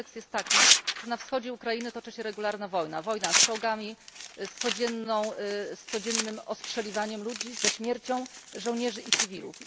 A kontekst jest taki, że na wschodzie Ukrainy toczy się regularna wojna, wojna z czołgami, z codziennym ostrzeliwaniem ludzi, ze śmiercią żołnierzy i cywilów.